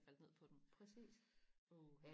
faldt ned på dem åh